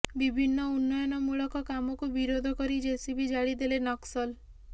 ବିଭିନ୍ନ ଉନ୍ନୟନମୂଳକ କାମକୁ ବିରୋଧ କରି ଜେସିବି ଜାଳିଦେଲେ ନକ୍ସଲ